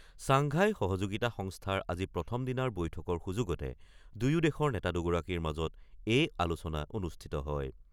Shanghai সহযোগিতা সংস্থাৰ আজি প্ৰথমদিনাৰ বৈঠকৰ সুযোগতে দুয়ো দেশৰ নেতা দুগৰাকীৰ মাজত এই আলোচনা অনুষ্ঠিত হয়।